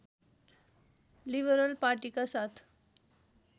liberal पार्टीका साथ